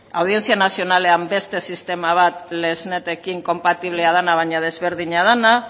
audientzia nazionalean beste sistema bat lexnetekin konpatiblea dena baina desberdina dena